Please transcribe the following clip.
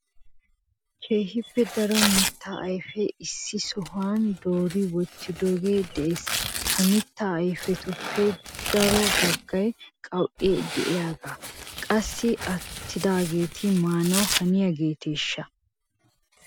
keehippe daro mitta ayfeta issi sohuwa doori wottidooge de'es. ha mitta ayfetuppe daro baggay qaw''e de'iyaaganne qassikka attidageeti maanaw haniyaageeteshsha?